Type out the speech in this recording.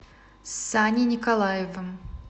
саней николаевым